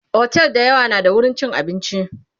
otel da yawa na da wurin chin abinci